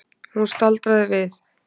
Hún staldraði við.